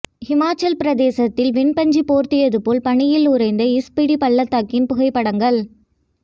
ஹிமாசலப்பிரதேசத்தில் வெண்பஞ்சு போர்த்தியது போல் பனியில் உறைந்த ஸ்பிடி பள்ளத்தாக்கின் புகைப்படங்கள்